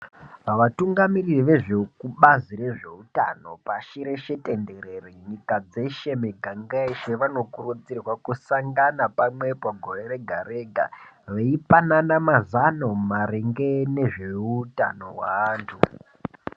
Vatungamiri vezvekubazi rezveutano pashi reshe tenderere nyika dzeshe miganga yeshe vanokurudzirwa kusangana pamwepo gorw rega rega veipanana mazano maringe ngezveutano hweanthu.